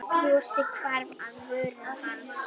Brosið hvarf af vörum hans.